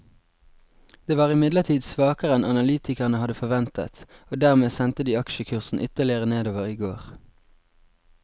Det var imidlertid svakere enn analytikerne hadde forventet, og dermed sendte de aksjekursen ytterligere nedover i går.